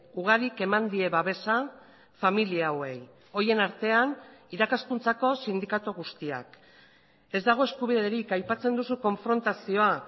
ugarik eman die babesa familia hauei horien artean irakaskuntzako sindikatu guztiak ez dago eskubiderik aipatzen duzu konfrontazioa